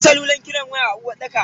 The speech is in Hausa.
Akwai salulan kiran waya a uwarɗakar.